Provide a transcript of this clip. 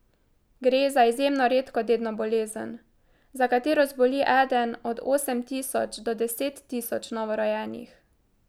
Gre za izjemno redko dedno bolezen, za katero zboli eden od osem tisoč do deset tisoč novorojenih.